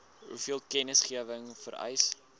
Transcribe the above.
hoeveel kennisgewing vereis